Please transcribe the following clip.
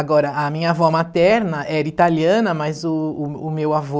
Agora, a minha avó materna era italiana, mas o o o meu avô...